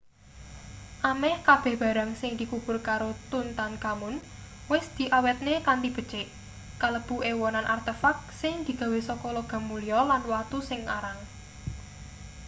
ameh kabeh barang sing dikubur karo tutankhamun wis diawetne kanthi becik kalebu ewonan artefak sing digawe saka logam mulya lan watu sing arang